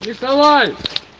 николай